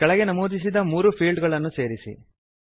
ಕೆಳಗೆ ನಮೂದಿಸಿದ ಮೂರು ಫೀಲ್ಡ್ ಗಳನ್ನು ಸೇರಿಸಿ